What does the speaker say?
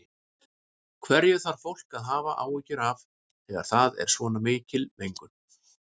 Hverju þarf fólk að hafa áhyggjur af þegar það er svona mikil mengun?